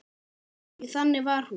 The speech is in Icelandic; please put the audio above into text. Því þannig var hún.